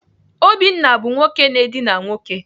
Obinna bụ nwoke na-edina nwoke.